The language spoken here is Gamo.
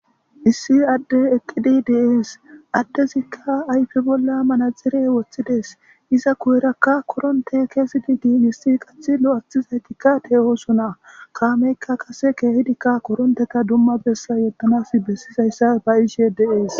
issi adde eqqidi deees addezikka ayfe bolla manazire woththides iza kuyerakka koronte keesidi dii hissi qath lo7athizaytikka te oosona kaameykka kase keehidikka koronteta dumma bessa yottanas bessizayssa ba iishe deees